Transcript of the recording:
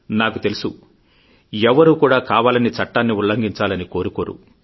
నాకు తెలుసు ఎవ్వరూ కూడా కావాలని చట్టాన్ని ఉల్లంఘించాలని కోరుకోరు